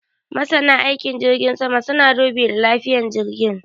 Masanan aikin jirgin sama sun dubi lafiyan jirgin